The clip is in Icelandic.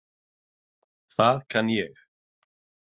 Það kann ég.